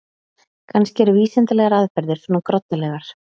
Kannski eru vísindalegar aðferðir svona groddalegar.